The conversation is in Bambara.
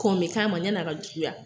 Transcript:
Kɔn bɛ k'a ma, sani a ka juguya